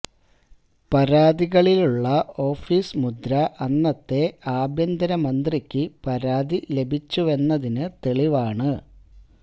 പരാതികളിലുള്ള office മുദ്ര അന്നത്തെ ആഭ്യന്തര മന്ത്രിക്ക് പരാതി ലഭിച്ചുവെന്നതിന് തെളിവാണ്